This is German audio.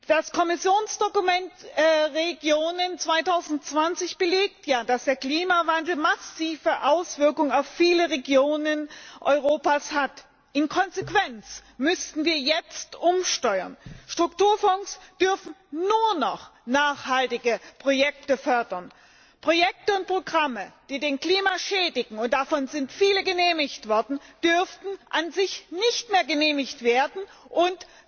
Das Kommissionsdokument Regionen 2020 belegt ja, dass der Klimawandel massive Auswirkungen auf viele Regionen Europas hat. In Konsequenz müssten wir jetzt umsteuern Strukturfonds dürfen nur noch nachhaltige Projekte fördern, Projekte und Programme, die das Klima schädigen und davon sind viele genehmigt worden dürften an sich nicht mehr genehmigt werden,